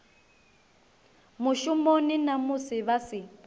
mushumoni na musi vha si